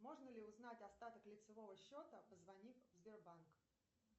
можно ли узнать остаток лицевого счета позвонив в сбербанк